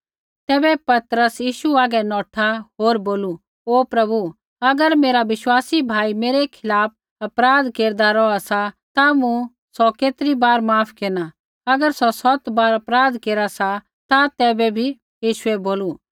तैबै पतरस यीशु हागै नौठा होर बोलू ओ प्रभु अगर मेरा विश्वासी भाई मेरै खिलाफ़ अपराध केरदा रौहा सा ता मूँ सौ केतरी बार माफ केरना अगर सौ सौत बार अपराध केरा सा ता तैबै भी